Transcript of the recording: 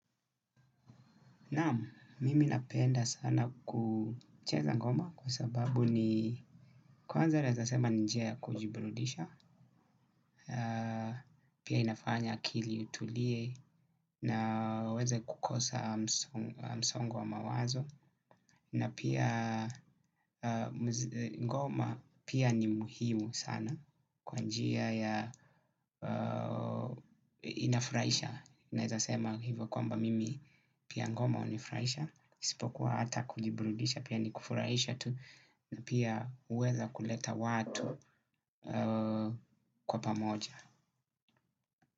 Naam, mimi napenda sana kucheza ngoma, kwa sababu ni kwanza naeza sema ni njia ya kujiburudisha, pia inafanya akili itulie naweze kukosa msongo wa mawazo. Na pia, ngoma pia, ni muhimu sana. Kwa njia ya, inafuraisha. Naeza sema hivo kwamba mimi, pia ngoma unifuraisha, spokuwa hata kujibrudisha, pia ni kufuraisha tu. Na pia, uweza kuleta watu kwa pamoja.